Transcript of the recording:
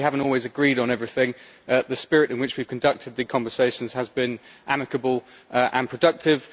Although we have not always agreed on everything, the spirit in which we conducted our conversations has been amicable and productive.